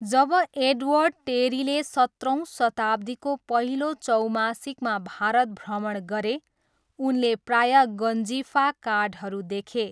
जब Edward टेरीले सत्रौँ शताब्दीको पहिलो चौमासिकमा भारत भ्रमण गरे, उनले प्रायः गन्जिफा कार्डहरू देखे।